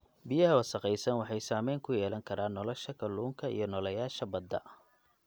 Biyaha wasakhaysan waxay saameyn ku yeelan karaan nolosha kalluunka iyo nooleyaasha badda.